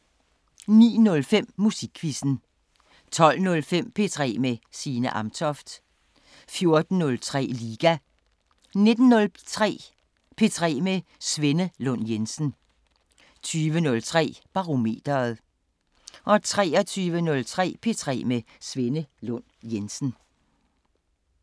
09:05: Musikquizzen 12:05: P3 med Signe Amtoft 14:03: Liga 19:03: P3 med Svenne Lund Jensen 20:03: Barometeret 23:03: P3 med Svenne Lund Jensen